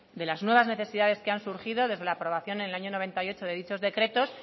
de las nuevas necesidades que han surgido desde la aprobación en el año mil novecientos noventa y ocho de dichos decretos